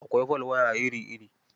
Akwai folwaya iri-iri.